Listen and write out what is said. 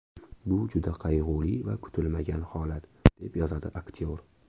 Bu juda qayg‘uli va kutilmagan holat”, deb yozadi aktyor.